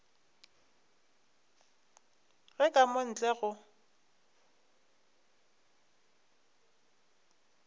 ge ka mo ntle go